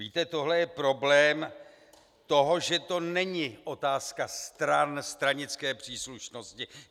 Víte, tohle je problém toho, že to není otázka stran, stranické příslušnosti.